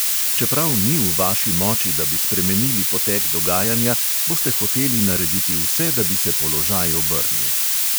Čeprav ni v vaši moči, da bi spremenili potek dogajanja, boste hoteli narediti vse, da bi se položaj obrnil.